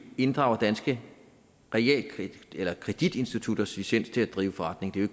inddrager danske kreditinstitutters licens til at drive forretning det er